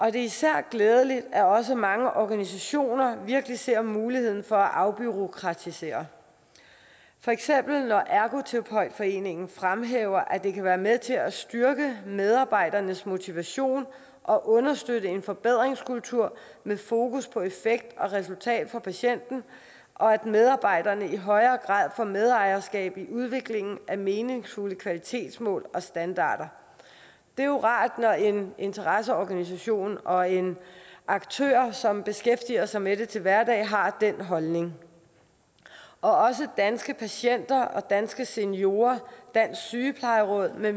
er især glædeligt at også mange organisationer virkelig ser muligheden for at afbureaukratisere for eksempel når ergoterapeutforeningen fremhæver at det kan være med til at styrke medarbejderes motivation og understøtte en forbedringskultur med fokus på effekt og resultat for patienten og at medarbejderne i højere grad får medejerskab i udviklingen af meningsfulde kvalitetsmål og standarder det er jo rart når en interesseorganisation og en aktør som beskæftiger sig med det til hverdag har den holdning også danske patienter og danske seniorer dansk sygeplejeråd med